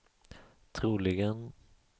troligen